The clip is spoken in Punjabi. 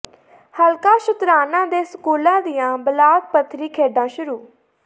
ਹਲਕਾ ਸ਼ੁਤਰਾਣਾ ਦੇ ਸਕੂਲਾਂ ਦੀਆਂ ਬਲਾਕ ਪੱਧਰੀ ਖੇਡਾਂ ਸ਼ੁਰੂ